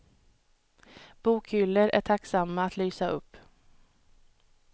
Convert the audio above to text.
Bokhyllor är tacksamma att lysa upp.